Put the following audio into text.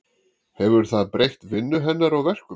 Hefur það breytt vinnu hennar og verkum?